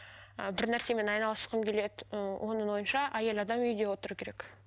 і бір нәрсемен айналысқым келеді ыыы оның ойынша әйел адам үйде отыру керек